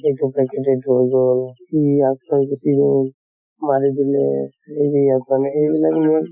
হৈ গʼল, ই গুছি গʼল, মাৰি দিলে মানে এইবিলাক news